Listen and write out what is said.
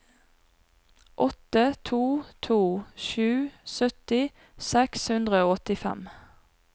åtte to to sju sytti seks hundre og åttifem